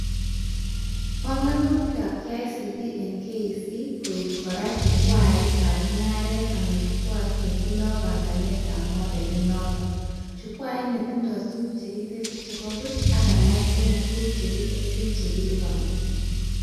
Banganutikab KICD eng KEC koek kora chukwaitab mugaret anan chukwait netindoi banganetab modelit-noto, chukwait netindoi tuguk chekitesyi chebo buch ak alak eng tuguk chekitesyi chekilibani